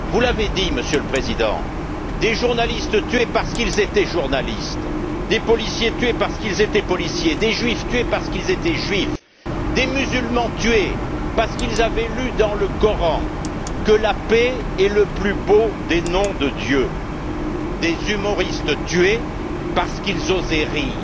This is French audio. Vous l'avez dit, Monsieur le Président des journalistes tués parce qu'ils étaient journalistes, des policiers tués parce qu'ils étaient policiers, des juifs tués parce qu'ils étaient juifs, des musulmans tués parce qu'ils avaient lu dans le Coran que la paix est le plus beau des noms de Dieu et d'humoristes tués parce qu'ils osaient rire.